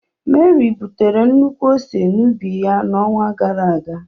Mary butere nnukwu ose n'ubi ya n'onwa gara aga.